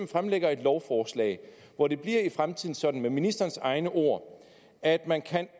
fremsætter et lovforslag hvor det i fremtiden bliver sådan med ministerens egne ord at man